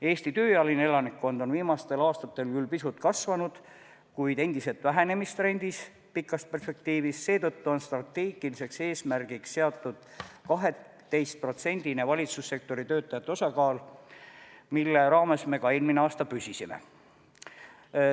Eesti tööealine elanikkond on viimastel aastatel küll pisut kasvanud, kuid endiselt vähenemistrendis pikas perspektiivis, seetõttu on strateegiliseks eesmärgiks seatud 12%-line valitsussektori töötajate osakaal, mille raames me ka eelmine aasta püsisime.